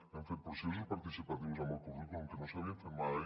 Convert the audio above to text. hem fet processos participatius amb el currículum que no s’havien fet mai